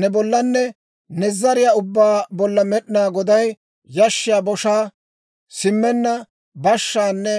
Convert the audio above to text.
ne bollanne ne zariyaa ubbaa bolla Med'inaa Goday yashshiyaa boshaa, simmenna bashshaanne